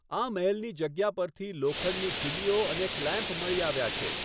આ મહેલની જગ્યા પરથી લોખંડની ખીલીઓ અને ક્લેમ્પ મળી આવ્યા છે.